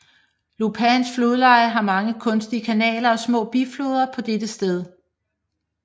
Lopans flodleje har mange kunstige kanaler og små bifloder på dette sted